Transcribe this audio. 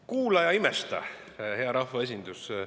Kuula ja imesta, hea rahvaesindus!